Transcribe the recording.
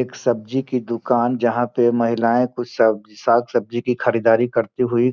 एक सब्जी की दुकान जहां पे महिलाएं कुछ सब साग सब्जी की खरीदारी करती हुई